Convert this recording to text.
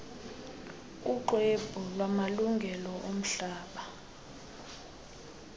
kuxwebhu lwamalungelo omhlaba